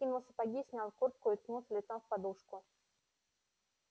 он скинул сапоги снял куртку и уткнулся лицом в подушку